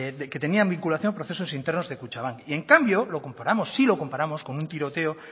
que tenían vinculación con procesos internos de kutxabank y en cambio lo comparamos sí lo comparamos con un tiroteo